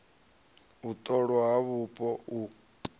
u ṱolwa ha vhupo u